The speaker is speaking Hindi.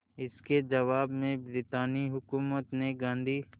इसके जवाब में ब्रितानी हुकूमत ने गांधी